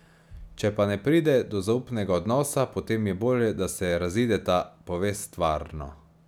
Če pa ne pride do zaupnega odnosa, potem je bolje, da se razideta, pove stvarno.